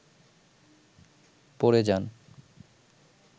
পড়ে যান